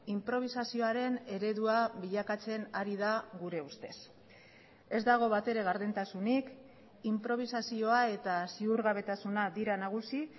inprobisazioaren eredua bilakatzen ari da gure ustez ez dago batere gardentasunik inprobisazioa eta ziurgabetasuna dira nagusi